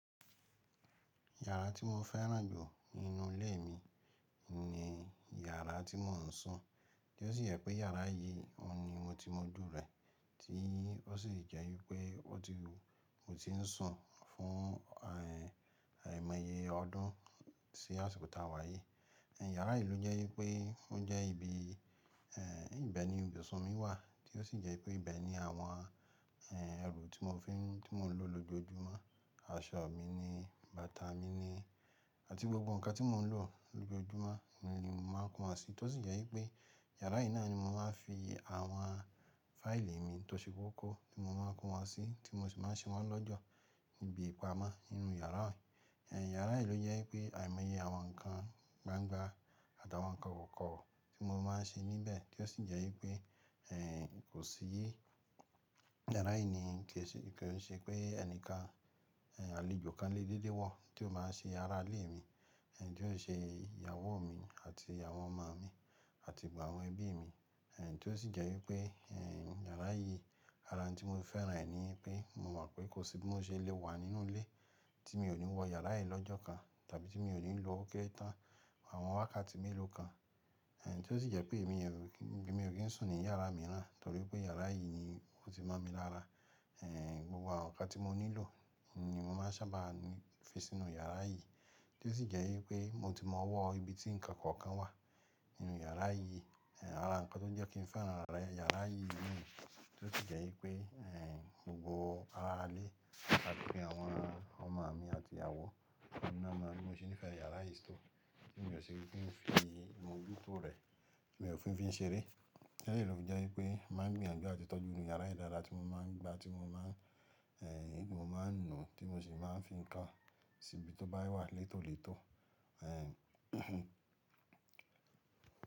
Yàrá tí mo fẹ́ràn jù nínú ilé mi ni yàrá tí mò ń sùn, tí ó sì jẹ́ pé yàrá yìí ni mo ti mọjú rẹ̀, tí ó sì jẹ́ wípé ó ti mu tí ń sùn fún, ẹ́, àìmọye ọdún sí àsìkò táa wá yìí. Yàrá yìí ló jẹ́ wípé ó jẹ́ ibi, ẹ́, ibẹ̀ ni ibùsùn mi wà tí ó sì jẹ́ pé ibẹ̀ ni àwọn, ẹ́, ẹrù tí mo fi ń, tí mò ń lò lójoojúmọ́, aṣọ mi ni, bàtà mi ni àti gbogbo nǹkan tí mò ń lò lójoojúmọ́ ni màá kó won sí. Tó sì jẹ́ wípé yàrá yìí náà ni mo máa ń fi àwọn fáìlì mi tó ṣe kókó tí mo máa ń kó wá sí tí mo sì máa ń ṣe wọ́n lọ́jọ́ níbi ìpamọ́ nínú yàrá mi. Ẹ̀, yàrá yìí ló jẹ́ pé àìmọye àwọn nǹkan gbangba àtàwọn nǹkan kọ̀ọ̀kan tí mo máa ń ṣe níbẹ̀ tí ó sì jẹ́ wípé, ẹ́, kò sí yí yàrá yìí ni kí o ṣe, kí o ṣe pé ẹni kan, ẹ́, àlejò kan lé dé de wọ̀ tí ó máa ṣe ará ilé mi, ẹ́, tí ó ṣe ìyàwó mi àti àwón ọmọ mi àti gbogbo àwọn ẹbí mi. Ẹ̀, tí ó sì jẹ́ wípé, ẹ́, yàrá yìí, ara tí mo fẹ́ràn rẹ̀ ni pé mo mọ̀ pé kò sí bí mo ṣe lè wà nínú ilé tí mi ò ní wọ yàrá yìí lọ́jọ́ kan tàbí tí mi ò ní lò ó kẹ́ẹ̀ta àwọn wákàtí mélòó kan. Ẹ̀, tí ó sì jẹ́ pé èmi, ẹ́, mi ò kí ń sùn ní yàrá mìíràn torí pé yàrá yìí ni ó ti mọ̀ mí lára. Ẹ̀, gbogbo àwọn nǹkan tí mo nílò ni mo máa sábà fi sínú yàrá yìí tí ó sì jẹ́ wípé mo ti mọ wọ ibi tí ǹkan kọ̀ọ̀kan wà nínú yàrá yìí. Ẹ̀, ara nǹkan tó jẹ́ kí n fẹ́ràn yàrá yìí nì tí ó sì jẹ́ wípé, ẹ́, gbogbo ará ilé àti pé àwọn ọmọ mi àti ìyàwó mi náà ni wọ́n sì ń fẹ́ yàrá yìí tó. Kíni ò ṣe wípé mo fi imojuto rẹ̀, mi ò fi ń fi ṣeré. Lẹ́ẹ̀lọ̀ jẹ́ wípé máa gbìyànjú àti tọ́jú yàrá yìí dáadáa tí mo máa ń gba tí mo máa ń, ẹ́, tí mo máa ń nu tí mo sì máa ń fi kàn síbi tó bá wà létólètó. Ẹ̀.